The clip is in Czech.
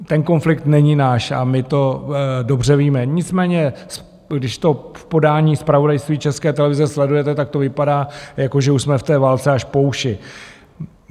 Ten konflikt není náš a my to dobře víme, nicméně když to v podání zpravodajství České televize sledujete, tak to vypadá, jako že už jsme v té válce až po uši.